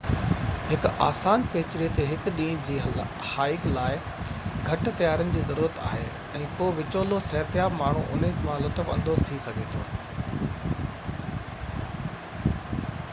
هڪ آسان پيچري تي هڪ ڏينهن جي هائيڪ لاءِ گهٽ تيارين جي ضرورت آهي ۽ ڪو وچولو صحتياب ماڻهو انهن مان لطف اندوز ٿي سگهي ٿو